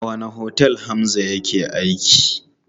A wanne otel Hamza yake aiki?